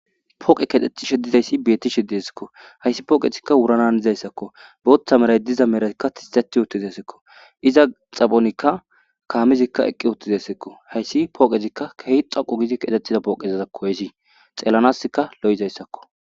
Poqeyi kethetishe deizayisi betishe deesikko hayisi poqezika wurana hanizayisakko botha marayi dizayi pizza xaphonika kamezikka eqi utidesikko hayisi poqezika kehi dhoqu gi kethetizayisakko xelanasikka loeesikko